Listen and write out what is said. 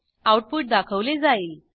output दाखवले जाईल